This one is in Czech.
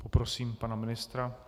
Poprosím pana ministra.